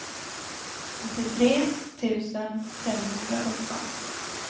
åttiotre tusen femhundrasjutton